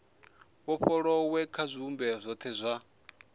vhofholowe kha zwivhumbeo zwothe zwa